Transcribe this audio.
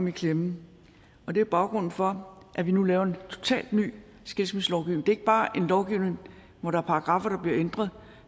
i klemme og det er baggrunden for at vi nu laver en totalt ny skilsmisselovgivning det er ikke bare en lovgivning hvor der er paragraffer der bliver ændret